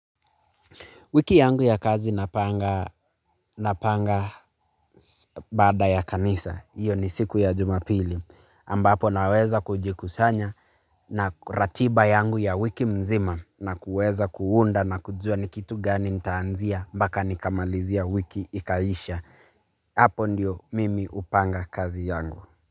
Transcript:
Wiki yangu ya kazi napanga napanga baada ya kanisa, iyo ni siku ya jumapili, ambapo naweza kujikusanya na ratiba yangu ya wiki mzima na kuweza kuunda na kujua ni kitu gani mtaanzia, mpaka nikamalizia wiki ikaisha, hapo ndiyo mimi hupanga kazi yangu.